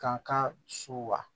Kankan suwa